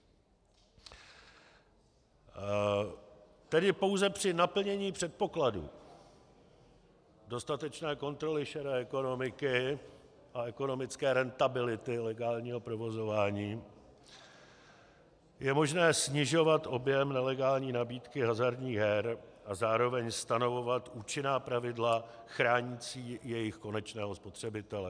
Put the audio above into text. Tedy pouze při naplnění předpokladů dostatečné kontroly šedé ekonomiky a ekonomické rentability legálního provozování je možné snižovat objem nelegální nabídky hazardních her a zároveň stanovovat účinná pravidla chránící jejich konečného spotřebitele.